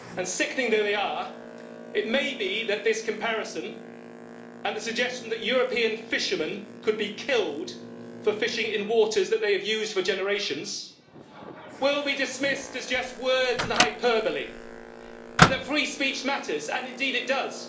Sickening though they are, it may be that this comparison and the suggestion that European fishermen could be killed for fishing in waters that they have used for generations will be dismissed as just words and hyperbole, and that free speech matters and indeed it does.